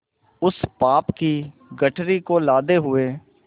उस पाप की गठरी को लादे हुए